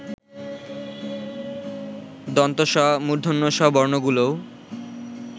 স, ষ বর্ণগুলোও